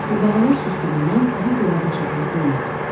Qurbağalar susduğundan daha gölə daş atan olmurdu.